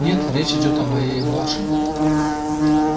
нет речь идёт о моей младшенькой